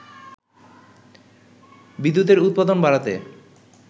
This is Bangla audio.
বিদ্যুতের উৎপাদন বাড়াতে